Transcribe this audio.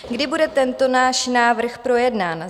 Kdy bude tento náš návrh projednán?